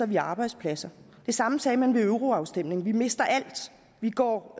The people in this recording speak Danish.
vi arbejdspladser det samme sagde man ved euroafstemningen vi mister alt vi går